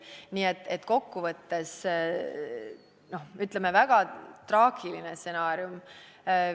Nii et kokku võttes, ütleme, väga traagiline stsenaarium.